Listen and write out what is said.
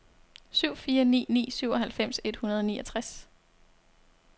syv fire ni ni syvoghalvfems et hundrede og niogtres